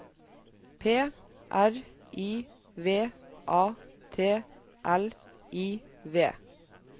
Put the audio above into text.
P R I V A T L I V